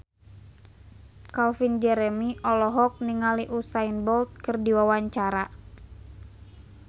Calvin Jeremy olohok ningali Usain Bolt keur diwawancara